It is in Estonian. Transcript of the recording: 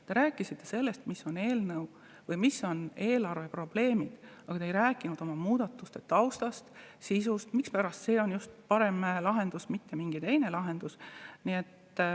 Te rääkisite sellest, mis on eelarve probleemid, aga te ei rääkinud oma muudatuste taustast, nende sisust, sellest, mispärast just see on see parem lahendus, aga mitte mingi teine lahendus.